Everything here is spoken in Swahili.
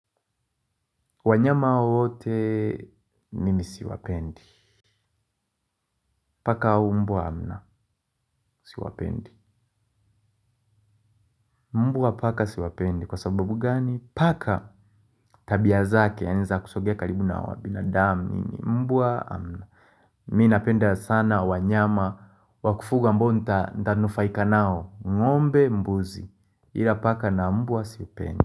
Wanyama wote nimi siwapendi. Paka au mbwa na siwapendi. Mbwa paka siwapendi, kwa sababu gani? Paka tabia zake ni za kusogea karibu na wa binadamu, mbwa. Mi napenda sana wanyama wa kufuga ambao nta ntanufaika nao, ng'ombe, mbuzi, ila paka na mbwa sipendi.